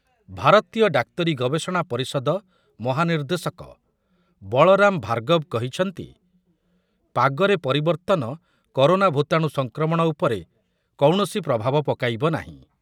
ଭାରତୀୟ ଡାକ୍ତରୀ ଗବେଷଣା ପରିଷଦ ମହାନିର୍ଦ୍ଦେଶକ ବଳରାମ ଭାର୍ଗବ କହିଛନ୍ତି, ପାଗରେ ପରିବର୍ତ୍ତନ କରୋନା ଭୂତାଣୁ ସଂକ୍ରମଣ ଉପରେ କୌଣସି ପ୍ରଭାବ ପକାଇବ ନାହିଁ ।